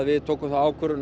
við tókum þá ákvörðun